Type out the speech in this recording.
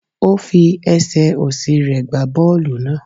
Ó fi esè osi re gba boolu naa